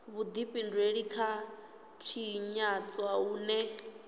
vhudifhinduleli kha u tshinyadzwa hune